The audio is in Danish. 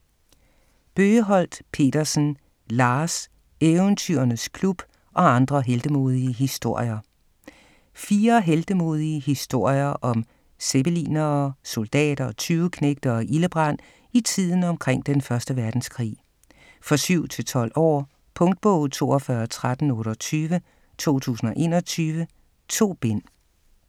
Bøgeholt Pedersen, Lars: Eventyrernes Klub - og andre heltemodige historier Fire heltemodige historier om zeppelinere, soldater, tyveknægte og ildebrand i tiden omkring 1. verdenskrig. For 7-12 år. Punktbog 421328 2021. 2 bind.